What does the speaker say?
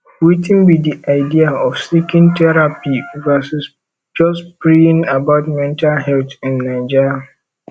wetin be di idea of seeking therapy versus just praying about mental health in naija